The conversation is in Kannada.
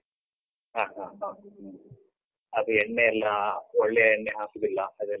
ಹ, ಹ. ಹ. ಅದು ಎಣ್ಣೆ ಎಲ್ಲಾ ಒಳ್ಳೇ ಎಣ್ಣೆ ಹಾಕುದಿಲ್ಲ ಅದೆಲ್ಲಾ.